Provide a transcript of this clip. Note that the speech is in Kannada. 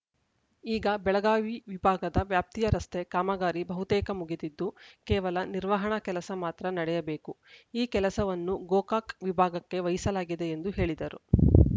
ಈಗ ಬೆಳಗಾವಿ ವಿಭಾಗದ ವ್ಯಾಪ್ತಿಯ ರಸ್ತೆ ಕಾಮಗಾರಿ ಬಹುತೇಕ ಮುಗಿದಿದ್ದು ಕೇವಲ ನಿರ್ವಹಣಾ ಕೆಲಸ ಮಾತ್ರ ನಡೆಯಬೇಕು ಈ ಕೆಲಸವನ್ನು ಗೋಕಾಕ್‌ ವಿಭಾಗಕ್ಕೆ ವಹಿಸಲಾಗಿದೆ ಎಂದು ಹೇಳಿದರು